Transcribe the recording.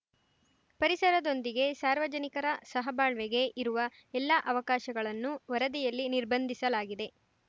ಪರಿಸರದೊಂದಿಗೆ ಸಾರ್ವಜನಿಕರ ಸಹಬಾಳ್ವೆಗೆ ಇರುವ ಎಲ್ಲ ಅವಕಾಶಗಳನ್ನು ವರದಿಯಲ್ಲಿ ನಿರ್ಬಂಧಿಸಲಾಗಿದೆ